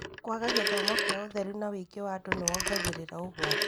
Kwaga gĩthomo kĩa ũtheru na ũingĩ wa andũ nĩkwongagĩrĩra ũgwati.